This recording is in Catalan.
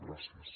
gràcies